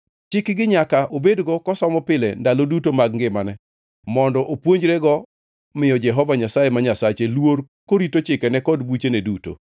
Chikgi nyaka obedgo kosomo pile ndalo duto mag ngimane mondo opuonjrego miyo Jehova Nyasaye ma Nyasache luor korito chikenegi kod buchene duto.